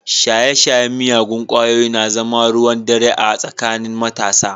Shaye-shayen miyagun kwayoyi na zama ruwan dare a tsakanin matasa.